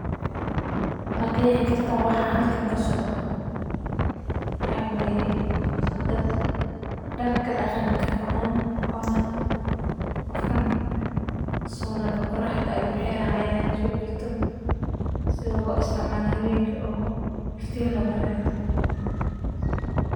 Ma qeexi kartaa waxaa halkan ka socda, waxaa weye dad darka daqanka qawan, ona qofkan solaga qoraxda ayu xira haya so jito, sitha lo isticmalo hawenki iftin loga rathiyo.